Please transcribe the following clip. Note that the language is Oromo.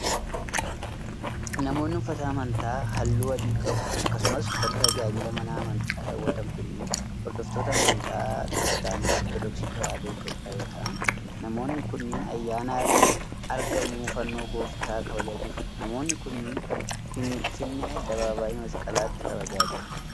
Namoonni uffata amantaa haalluu adii qabu akkasumas uffata tajaajila mana amantii kaawwatan kunneen hordoftoota amantaa kiristaana Ortodooksii Tawaahidoo Itoophiyaa yoo ta'an, namoonni kunneen ayyaana argamuu fannoo Gooftaa kabajaa jiru. Namoonni kunneen ,Finfinnee addabaabaayii Masqalaatti kabajaa jiru.